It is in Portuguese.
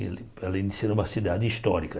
Ela iniciou em uma cidade histórica.